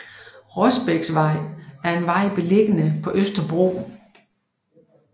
Rosbæksvej er en vej beliggende på Østerbro